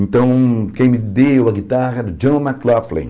Então, quem me deu a guitarra era o John McLaughlin.